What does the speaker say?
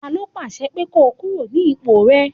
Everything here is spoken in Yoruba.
Ta ló pàṣẹ pé ko kúrò ní ipò rẹ?